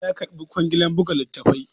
Audu ya karbi kwangilar buga littafi